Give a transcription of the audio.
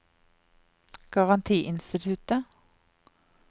garantiinstituttet